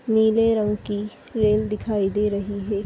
नीले रंग की ट्रेन दिखाई दे रही है।